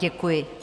Děkuji.